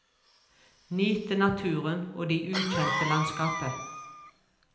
Nyte naturen og de ukjente landskapet.